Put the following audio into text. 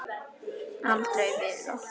Aldrei villa.